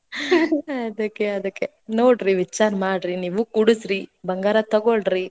ಅದ್ಕೆ, ಅದ್ಕೆ ನೋಡ್ರಿ, ವಿಚಾರ ಮಾಡ್ರಿ ನೀವೂ ಕೂಡ್ಸರಿ. ಬಂಗಾರ ತಗೊಳ್ಳರೀ.